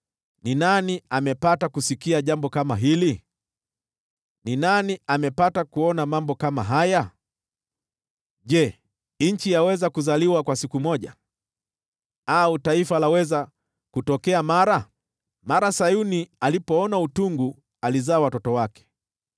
Ni nani amepata kusikia jambo kama hili? Ni nani amepata kuona mambo kama haya? Je, nchi yaweza kuzaliwa kwa siku moja, au taifa laweza kutokea mara? Mara Sayuni alipoona utungu, alizaa watoto wake.